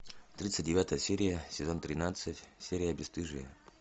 тридцать девятая серия сезон тринадцать серия бесстыжие